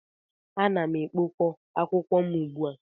Ana m ekpok ọ akwụkwọ ugbu a.